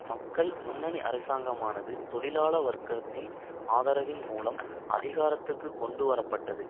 மக்கள் முன்னணி அரசாங்கமானது தொழிலாள வர்க்கத்தின் ஆதரவின் மூலம் அதிகாரத்துக்குக் கொண்டு வரப்பட்டது